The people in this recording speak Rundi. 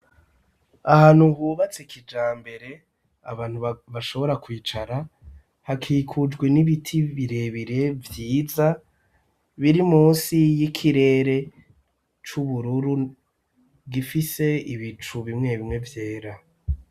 Ahantu hubatse kijambere abantu bashobora kwicara hakikujwe n'ibiti birebire vyiza biri munsi y'ikirere c'ubururu gifise ibicu bimwe bimwe vyera.